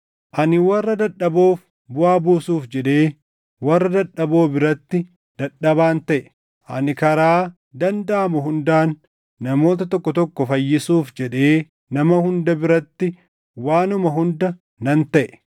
Ani warra dadhaboof buʼaa buusuuf jedhee warra dadhaboo biratti dadhabaan taʼe. Ani karaa dandaʼamu hundaan namoota tokko tokko fayyisuuf jedhee nama hunda biratti waanuma hunda nan taʼe.